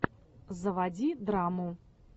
заводи драму